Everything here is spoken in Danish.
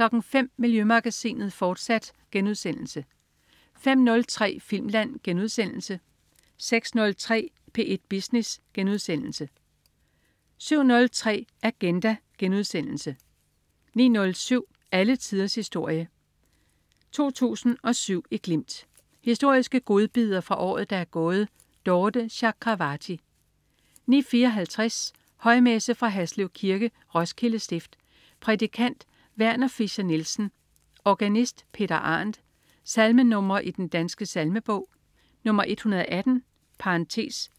05.00 Miljømagasinet, fortsat* 05.03 Filmland* 06.03 P1 Business* 07.03 Agenda* 09.07 Alle tiders historie. 2007 i glimt. Historiske godbidder fra året, der er gået. Dorthe Chakravarty 09.54 Højmesse. Fra Haslev Kirke. Roskilde Stift. Prædikant: Werner Fischer-Nielsen. Organist: Peter Arendt. Salmenr. i Den Danske Salmebog: 118